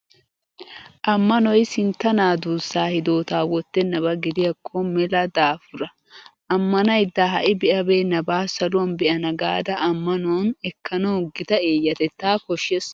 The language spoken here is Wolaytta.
Ammanoy sintta naa duussaa hidootaa wottennaba gidiyakko mela daafura! Ammanaydda ha"i be'abeennabaa saluwan be'ana gaada ammanuwan ekkanawu gita eeyatettaa koshshees.